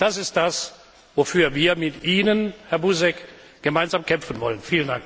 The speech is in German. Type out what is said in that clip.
Und das ist das, wofür wir mit Ihnen, Herr Buzek, gemeinsam kämpfen wollen!